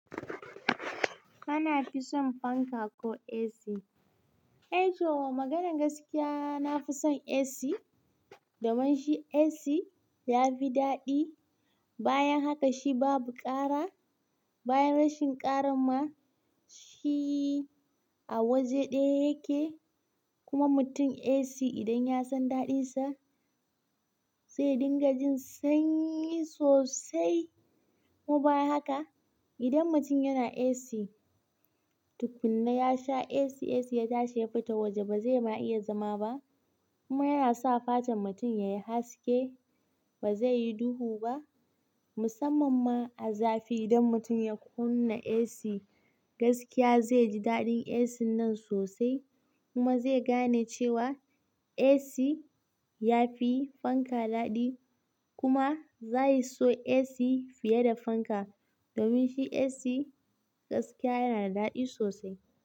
Kana fi son fanka ko AC? E toh, maganan gaskiya nafi son AC, domin shi AC ya fi daɗi. Bayan haka shi babu ƙara. Bayan rashin ƙaran ma, shi a waje ɗaya yake. Kuma mutumi AC idan ya san daɗinsa, zai dinga jin sanyi sosai. Kuma bayan haka, idan mutum yana AC, tukunna ya sha AC, AC ya tashi ya fita waje ba zai ma iya zama ba. Kuma yana sa fatan mutum yayi haske, ba zai yi duhu ba. Musamman ma a zafi idan mutum ya kunna AC, gaskiya zai ji daɗin AC nan sosai. Kuma zai gane cewa AC ya fi fanka daɗi. Kuma za ya so AC fiye da fanka. Domin shi AC gaskiya yana da daɗi sosai.